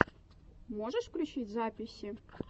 можешь включить записи